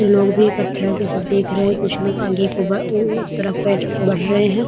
इन लोग भी इकट्ठे होके सब देख रहे हैं कुछ लोग आगे की उबा उ उ तरफ बैठ बढ़ रहे हैं ।